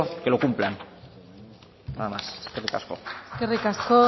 que lo cumplan nada más eskerrik asko